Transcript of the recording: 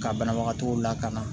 Ka banabagatɔw lakana